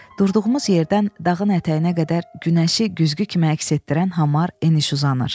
Durduğumuz yerdən dağın ətəyinə qədər günəşi güzgü kimi əks etdirən hamar eniş uzanır.